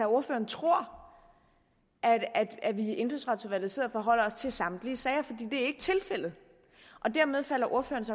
ordføreren tror at vi i indfødsretsudvalget sidder og forholder os til samtlige sager for det er ikke tilfældet dermed falder ordførerens